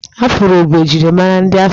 Afụro bụ njirimara ndị afrịka